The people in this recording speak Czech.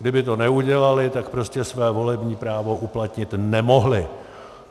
Kdyby to neudělali, tak prostě své volební právo uplatnit nemohli.